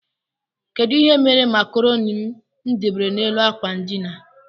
Kedụ ihe mere macroni mụ debere n' élú akwa ndina?